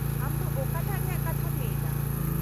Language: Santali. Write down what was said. -ᱟᱢ ᱫᱚ ᱚᱠᱟᱴᱟᱜ ᱨᱮᱭᱟᱜ ᱠᱟᱛᱷᱟᱢ ᱞᱟᱹᱭ ᱮᱫᱟ ?